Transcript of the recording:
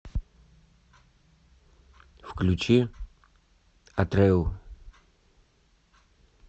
включи атрэу